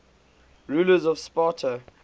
rulers of sparta